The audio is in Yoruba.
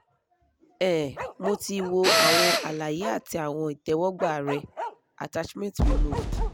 um mo ti wò àwọn àlàyé àti àwọn ìtẹ́wọ́gbà rẹ attachment removed